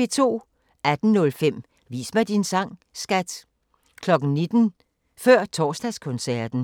18:05: Vis mig din sang, skat! 19:00: Før Torsdagskoncerten